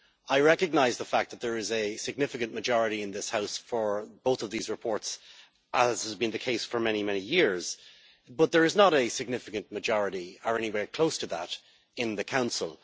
I recognise that there is a significant majority in this House for both of these reports, as has been the case for many, many years, but there is not a significant majority, or anywhere close to that, in the Council.